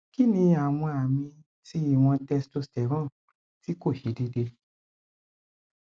kini awon ami ti iwon testosterone ti ko se deede